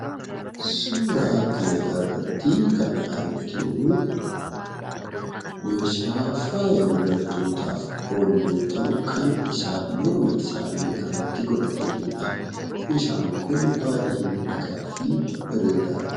Suura kan irratti kan arginu meeshaa faaya dubartootaaf oolu yoo ta'u, kan isaan morma isaanii irrattu godhatanidha. Meeshaan kun baay'ee bareedaa fi miidhagaadha.